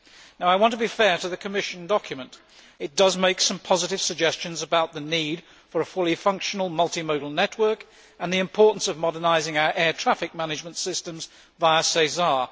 Now I want to be fair to the Commission document it does make some positive suggestions about the need for a fully functioning multimodal network and the importance of modernising our air traffic management system via SESAR.